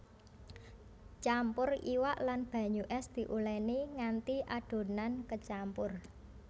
Campur iwak lan banyu ès diuleni nganti adonan kecampur